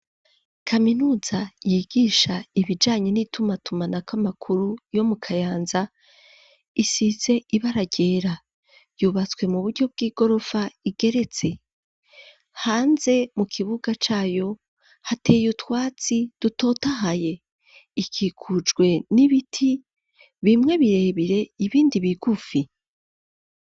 Kaminuza yigisha ibijanye n'itumatumanako amakuru yo mu kayanza, isize ibara ryera, yubatswe mu buryo bw'igorofa igeretse, hanze Mu kibuga cayo hateye utwatsi dutotahaye, ikikujwe n'ibiti bimwe birebire ibindi bigufi.